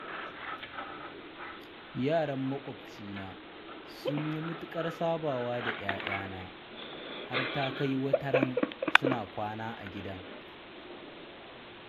Yaran maƙocina sun yi matukar sabawa da 'ya'yana, har ta kai wataran suna kwana a gidan.